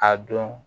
A dɔn